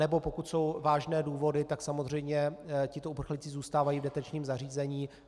Anebo pokud jsou vážné důvody, tak samozřejmě tito uprchlíci zůstávají v detenčním zařízení.